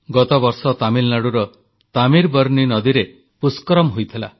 ଗତବର୍ଷ ତାମିଲନାଡୁର ତାମୀର ବର୍ନୀ ନଦୀରେ ପୁଷ୍କରମ୍ ହୋଇଥିଲା